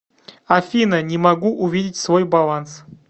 афина не могу увидеть свой баланс